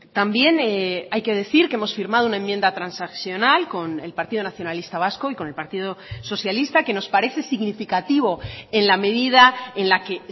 también hay que decir que hemos firmado una enmienda transaccional con el partido nacionalista vasco y con el partido socialista que nos parece significativo en la medida en la que